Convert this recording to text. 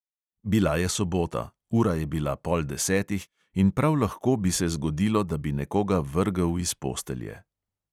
Bila je sobota, ura je bila pol desetih in prav lahko bi se zgodilo, da bi nekoga vrgel iz postelje.